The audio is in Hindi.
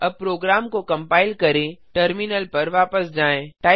अब प्रोग्राम को कंपाइल करें टर्मिनल पर वापस जाएँ